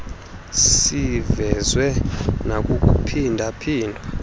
sivezwe nakukuphinda phindwa